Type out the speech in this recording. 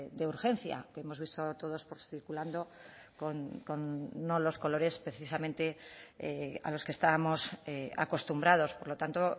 de urgencia que hemos visto todos circulando con no los colores precisamente a los que estábamos acostumbrados por lo tanto